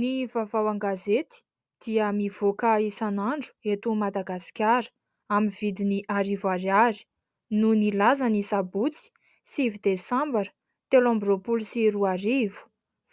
Ny vavao an-gazety dia mivoaka isan'andro eto Madagasikara amin'ny vidiny arivo ariary, no nilaza ny sabotsy 9 desambra telo amby roapolo sy roarivo,